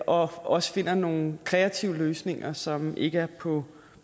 også finder nogle kreative løsninger som ikke er på